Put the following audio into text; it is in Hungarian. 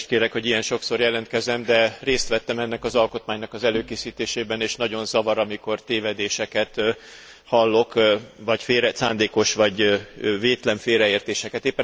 Elnézést kérek, hogy ilyen sokszor jelentkezem, de részt vettem ennek az alkotmánynak az előkészítésében, és nagyon zavar, amikor tévedéseket hallok, vagy szándékos, vagy vétlen félreértéseket.